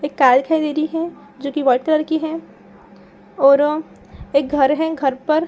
एक कार दिखाई दे रही है जो कि व्हाइट कलर की है औरो एक घर है। घर पर --